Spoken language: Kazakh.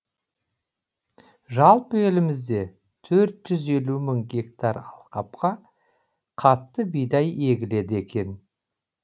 жалпы елімізде төрт жүз елу мың гектар алқапқа қатты бидай егіледі екен